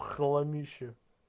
хламище